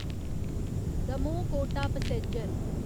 Damoh Kota passenger